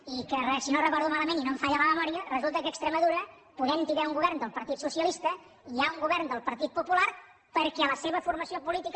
i que si no ho recordo malament i no em falla la memòria resulta que a extremadura podent hi haver un govern del partit socialista hi ha un govern del partit popular perquè la seva formació política